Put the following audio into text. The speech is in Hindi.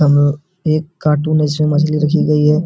अब एक कार्टून है इसमे मछली रखी गयी है।